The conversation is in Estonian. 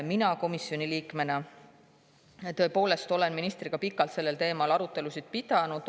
Mina komisjoni liikmena olen ministriga sel teemal pikalt arutelusid pidanud.